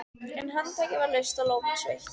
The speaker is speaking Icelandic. En handtakið var laust og lófinn sveittur.